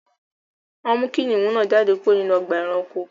Wọn mú kìnnìún náà jádẹ̀ kúrò nínú ọ̀gbà ẹ̀ránkò